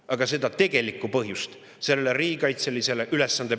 Aga seda tegelikku põhjust, miks me peame seda soetama …